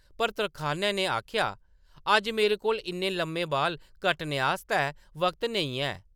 पर तरखानै ने आखेआ, “ अज्ज मेरे कोल इन्ने लम्मे बाल कट्टने आस्तै वक्त नेईं है! ”